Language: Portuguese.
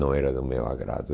Não era do meu agrado.